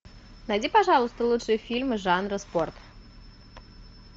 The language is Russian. найди пожалуйста лучшие фильмы жанра спорт